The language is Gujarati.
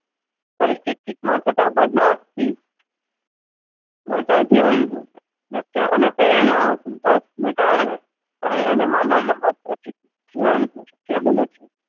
પરિસ્થિતિ ના થતા બદલાવથી મળતા જીવન લક્ષણ અને પ્રેરણાના સંપર્કને કારણે .